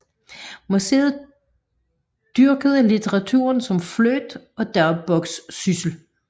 Musset dyrkede litteraturen som flirt og dagbogssyssel